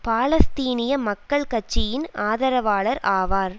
பாலஸ்தீனிய மக்கள் கட்சியின் ஆதரவாளர் ஆவார்